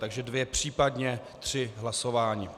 Takže dvě, příp. tři hlasování.